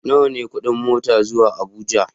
Nawa ne kuɗin mota zuwa Abuja?